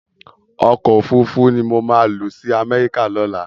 Òkò ófúrúfú ni mó má lòsi Amèriká lòlá